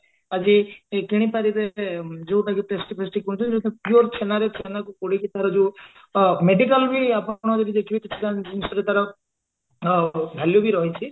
ଆଜି କିଣିପାରିବେ ଯଉଟା କି କିଣୁଛେ ଯାଉଥିରେ pure ଛେନାରେ ଛେନାକୁ କୋଡିଏ ଯଉ medical ବି ଆପଣ ଯଦି ଦେଖିବେ କିଛିଟା ଜିନିଷରେ ତାର ଅ value ବି ରହିଛି